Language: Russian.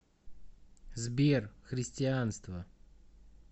сбер христианство